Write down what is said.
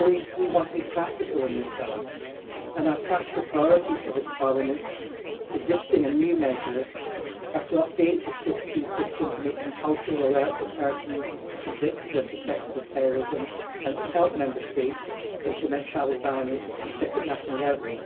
We want to be practical in this House, and our practical priorities for this Parliament, in terms of existing and new measures, are firstly to update the SIS II system to make compulsory alerts of persons convicted or suspected of terrorism and to help Member States implement travel bans at national level.